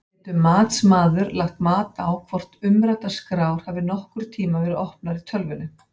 Getur matsmaður lagt mat á hvort umræddar skrár hafi nokkurn tímann verið opnaðar í tölvunni?